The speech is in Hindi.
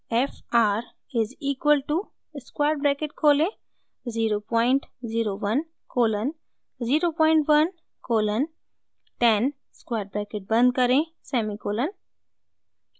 f r is equal to square bracket खोलें 001 कोलन 01 कोलन 10 स्क्वायर ब्रैकेट बंद करें सेमीकोलन